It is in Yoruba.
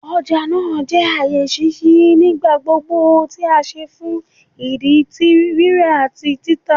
Ọja naa jẹ aaye ṣiṣi nigbagbogbo ti a ṣe fun idi ti rira ati tita